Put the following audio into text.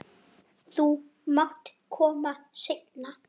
Þú mátt koma seinna.